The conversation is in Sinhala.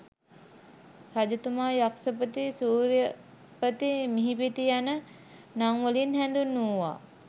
රජතුමා යක්ෂපති, සූර්යපති, මිහිපති යන නම් වලින් හැඳින්වූවා.